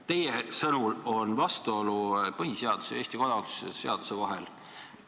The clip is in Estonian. Teie sõnul on põhiseaduse ja Eesti kodakondsuse seaduse vahel vastuolu.